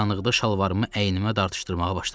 Qaranlıqda şalvarımı əynimə dartışdırmağa başladım.